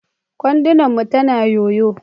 kwandon mu tana yoyo.